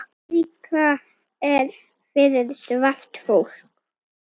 Afríka er fyrir svart fólk.